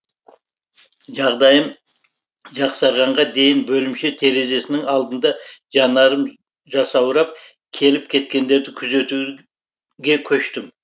жағдайым жақсарғанға дейін бөлімше терезесінің алдында жанарым жасаурап келіп кеткендерді күзетуге көштім